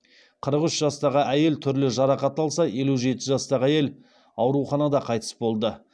қырық үш жастағы әйел түрлі жарақат алса елу жеті жастағы әйел ауруханада қайтыс болды